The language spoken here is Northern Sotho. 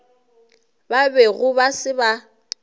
ba bego ba se ba